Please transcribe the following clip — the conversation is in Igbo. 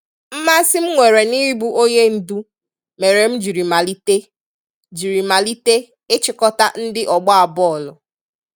Mmasị m nwere n'ịbụ onyendu mere m jiri malite jiri malite ịchịkọta ndị ọgba bọọlụ.